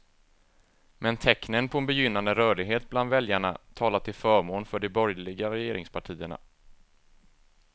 Men tecknen på en begynnande rörlighet bland väljarna talar till förmån för de borgerliga regeringspartierna.